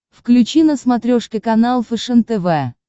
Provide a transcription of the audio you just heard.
включи на смотрешке канал фэшен тв